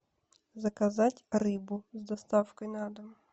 заказать рыбу с доставкой на дом